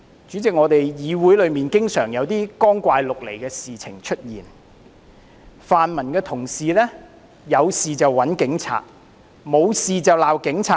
主席，議會內經常有一些光怪陸離的事情出現，泛民同事"有事就找警察，沒事就罵警察"。